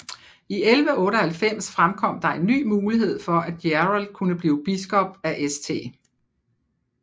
I 1198 fremkom der en ny mulighed for at Gerald kunne blive biskop af St